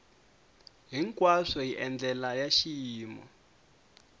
hinkwaswo hi ndlela ya xiyimo